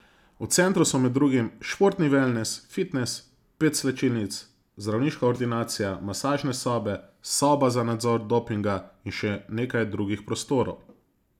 V centru so med drugim športni velnes, fitnes, pet slačilnic, zdravniška ordinacija, masažne sobe, soba za nadzor dopinga in še nekaj drugih prostorov.